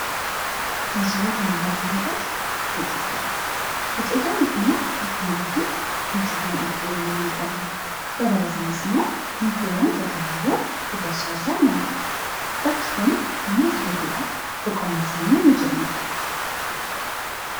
Kan suuraa kana irratti mul'atu biqiltootadha. Biqiltooni kunin akkuma arginuu mukewaan dheedherooni yeroo inni mul'atu. Dabalatanis immoo mukewwan gagaababoo gudachaa jiraan ni argamu. Bakki kun namoota heduudhaaf boqonnaa sammuu ni kennaaf.